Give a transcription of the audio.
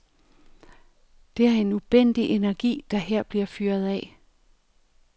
Det er en ubændig energi, der her bliver fyret af.